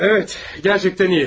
Bəli, həqiqətən yaxşı.